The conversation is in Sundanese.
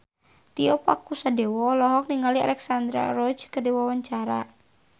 Tio Pakusadewo olohok ningali Alexandra Roach keur diwawancara